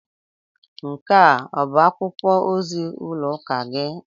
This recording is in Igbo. Nke a ọ bụ akwụkwọ ozi ụlọ ụka gị?